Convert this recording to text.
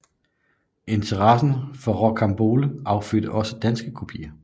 Interessen for Rocambole affødte også danske kopier